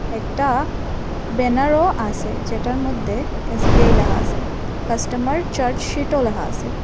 একটা ব্যানারও আসে যেটার মধ্যে এস_বি_আই লেহা আসে কাস্টমার চার্জসিটও লেহা আসে ।